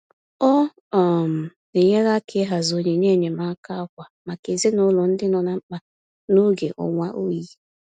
Ọ um na-enyere aka ịhazi onyinye enyemaaka ákwà maka ezinụlọ ndị nọ na mkpa n'oge ọnwa oyi.